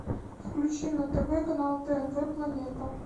включи на тв канал тнв планета